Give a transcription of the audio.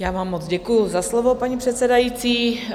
Já vám moc děkuju za slovo, paní předsedající.